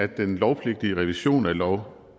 at den lovpligtige revision af lov